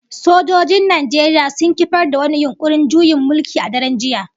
Sojojin Najeriya sun kifar da wani yunkurin juyin mulki a daren jiya